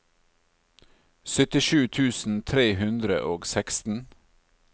syttisju tusen tre hundre og seksten